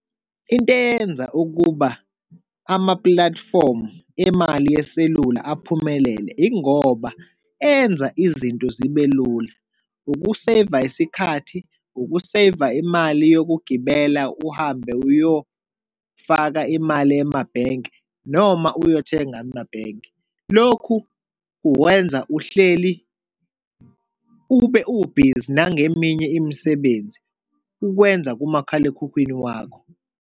Into eyenza ukuba amapulatifomu emali yeselula aphumelele yingoba enza izinto zibelula, ukuseyiva isikhathi, ukuseyiva imali yokugibela uhambe uyofaka imali emabhenki, noma uyothenga amabhenki. Lokhu uwenza uhleli ube u-busy nangeminye imisebenzi ukwenza kumakhalekhukhwini wakho.